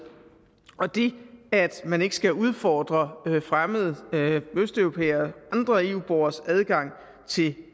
og det at man ikke skal udfordre fremmede østeuropæere og andre eu borgeres adgang til